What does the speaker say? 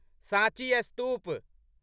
साँची स्तूप